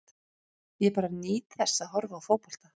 Ég bara nýt þess að horfa á fótbolta.